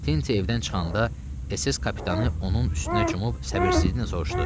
Tinti evdən çıxanda SS kapitanı onun üstünə cumub səbirsizliklə soruşdu: